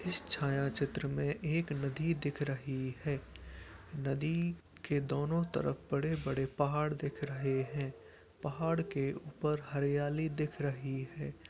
इस छायाचित्र में एक नदी दिख रही है। नदी के दोनों तरफ बड़े-बड़े पहाड़ दिख रहे हैं। पहाड़ के ऊपर हरियाली दिख रही है।